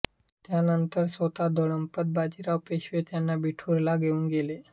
त्यानंतर स्वतः धोंडोपंत बाजीराव पेशवे त्यांना बिठूरला घेऊन गेले